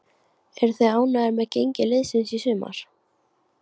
Eruð þið ánægðir með gengi liðsins í sumar?